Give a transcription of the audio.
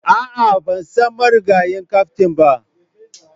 A'a, ban san marigayi kaftin ba,